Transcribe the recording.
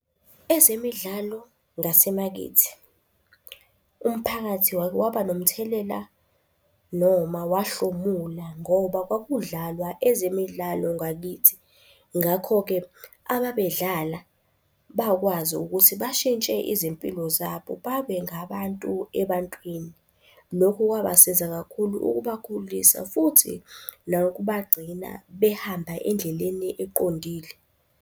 Ezemidlalo ngasemakithi. Umphakathi wake waba nomthelela noma wahlomula ngoba kwakudlalwa ezemidlalo Ngakithi. Ngakho-ke ababedlala bakwazi ukuthi bashintshe izimpilo zabo babe ngabantu ebantwini. Lokhu kwabasiza kakhulu ukubakhulisa futhi nokubagcina behamba endleleni eqondile.